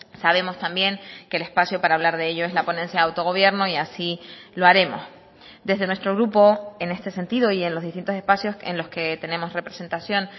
sabemos también que el espacio para hablar de ello es la ponencia de autogobierno y así lo haremos desde nuestro grupo en este sentido y en los distintos espacios en los que tenemos representación